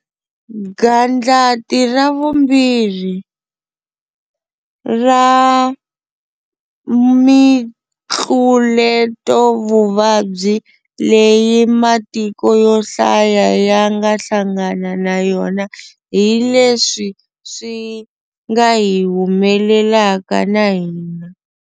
'Gandlati ra vumbirhi'ra mitluletovuvabyi leyi matiko yo hlaya ya nga hlangana na yona hi leswi swi nga hi humelelaka na hina.